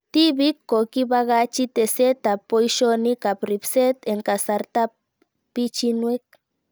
Tipik ko kipakachi teset ab poishonik ab ripset eng' kasarta ab pichiinwek